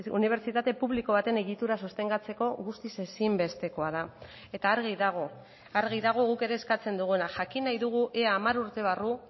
unibertsitate publiko baten egitura sostengatzeko guztiz ezinbestekoa da eta argi dago argi dago guk ere eskatzen duguna jakin nahi dugu ea hamar urte barru